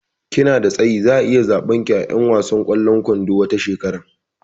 Kina da tsayi, zaa iya tsabar ki a 'yan wasan kwallon kwandon tawa shekera